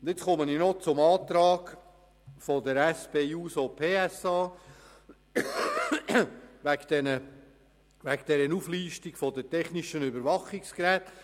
Ich komme zum Antrag der SP-JUSO-PSA-Fraktion betreffend die Auflistung der technischen Überwachungsgeräte.